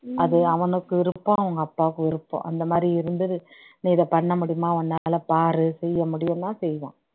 அது அவனுக்கு விருப்பம் அவங்க அப்பாக்கு விருப்பம் அந்த மாதிரி இருந்தது நீ இதை பண்ண முடியுமா உன்னால பாரு செய்ய முடியும்னா செய்வான்